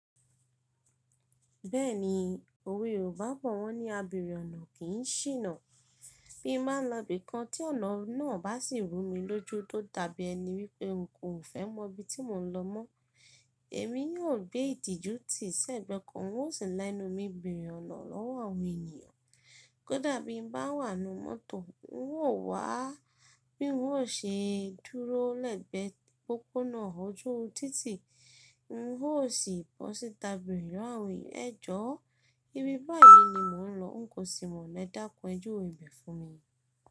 Bẹ́ẹ̀ni, òwe Yorùbá bọ̀ wọ́n ní “abèèrè ọ̀nà kì í ṣìnà”. Bí n bá n lọ ibìkan tí ọ̀nà náà bá sì rú mi lójú tó dàbí ẹni wípé n kò fẹ́ mọ ibi tí mò ń lọ mọ́, èmi yóò gbé ìtìjú tì sẹ́gbẹ̀ẹ́ kan, n ó sì la ẹnu mi bèèrè ọ̀nà ọ́wọ́ àwọn ènìyàn. Kódà bí n bá wà nínú mọ́tò, n óò wá bí n ó ṣe dúró lẹ́gbẹ̀ẹ́ pópónà ojú títì, n óò sì bọ́ síta bèèrè lọ́wọ́ àwọn eeyan. Ẹ jọ̀ọ́ Ibi báyìí ni mò ń lọ, n kò sì mọ̀nà, ẹ dákun ẹ júwe ibẹ̀ fún mi.